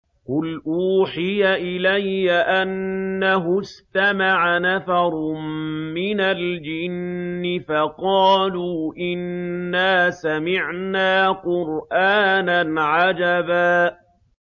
قُلْ أُوحِيَ إِلَيَّ أَنَّهُ اسْتَمَعَ نَفَرٌ مِّنَ الْجِنِّ فَقَالُوا إِنَّا سَمِعْنَا قُرْآنًا عَجَبًا